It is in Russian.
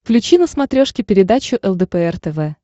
включи на смотрешке передачу лдпр тв